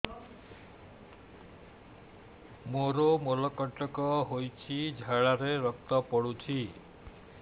ମୋରୋ ମଳକଣ୍ଟକ ହେଇଚି ଝାଡ଼ାରେ ରକ୍ତ ପଡୁଛି